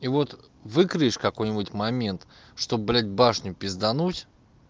и вот выкроишь какой-нибудь момент что блядь башню пиздануть